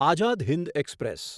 Azad Hind express